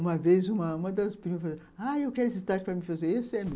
Uma vez, uma uma das primas falou assim, ah, eu quero esse tacho para me fazer, esse é meu.